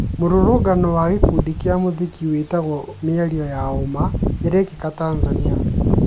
Mũrũrũngano wa gĩkundi kĩa mũthiki wĩtagwo "mĩario ya ũma "irekĩka Tanzania